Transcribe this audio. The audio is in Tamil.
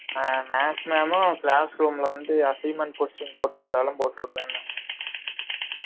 ஆஹ் maths maam மும் classroom ல வந்து assignment question போட்டு விட்டாலும் போட்டு விடுவேன்னாங்க